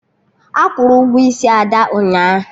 Akwụrụ Ụgwọ isi Ada ụnyaahụ